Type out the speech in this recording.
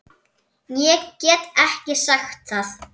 Ég get ekki sagt það.